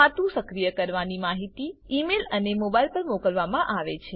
ખાતું સક્રિય કરાવવાની માહિતી ઈમેઇલ અને મોબાઈલ પર મોકલવામાં આવે છે